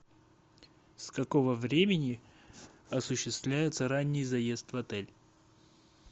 с какого времени осуществляется ранний заезд в отель